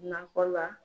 Nakɔ la